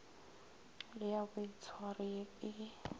le ya boitshwaro ye e